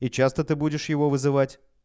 и часто ты будешь его вызывать